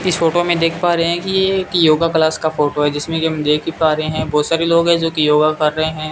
इस फोटो में देख पा रहे हैं कि ये एक योगा क्लास का फोटो है जिसमें हम देख ही पा रहे हैं बहुत सारे लोग हैं जोकि योगा कर रहे हैं।